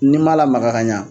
N'i m'a lamaga ka ɲa